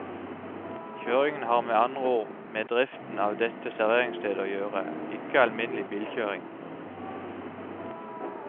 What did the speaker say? Kjøringen har med andre ord med driften av dette serveringssted å gjøre, ikke alminnelig bilkjøring.